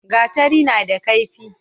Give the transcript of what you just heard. gatari na da kaifi